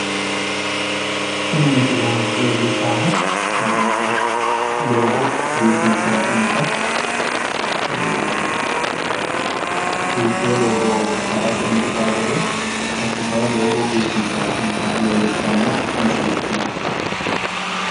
Tini misile leellishshaahu doogo biifinsayi hee'noyiita, biifewo doogo harate injiitawo gede assitayi doogo biifinssayi hee'noyiita leellishshawo misileeti yaate.